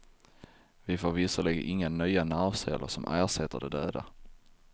Vi får visserligen inga nya nervceller som ersätter de döda.